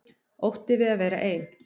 Ótti við að vera ein.